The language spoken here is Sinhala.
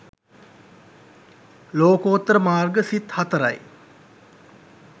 ලෝකෝත්තර මාර්ග සිත් 04 යි.